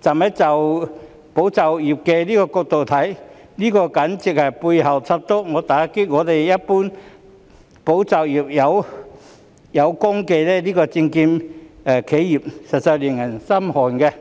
站在"保就業"的角度來看，這簡直是背後捅刀，打擊一群"保就業"有功的證券企業，實在令人心寒。